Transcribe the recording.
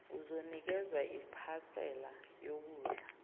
uzonikezwa iphasela yokudla